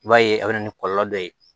I b'a ye a bɛ na ni kɔlɔlɔ dɔ ye